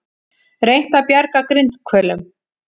Reynt að bjarga grindhvölum